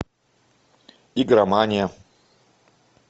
игромания